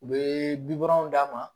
U bɛ bikɔrɔnw d'a ma